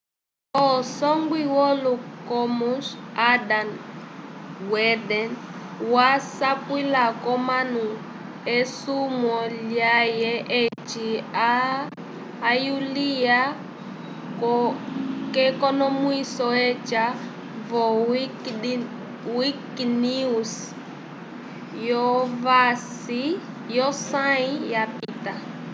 usongwi wolo commons adam cuerden wasapwila k'omanu esumwo lyãhe eci ayuliwa k'ekonomwiso aca vo wikinews v'osãyi yapita